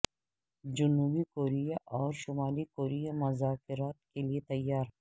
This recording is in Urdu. جنوبی کوریا اور شمالی کوریا مذاکرات کے لیے تیار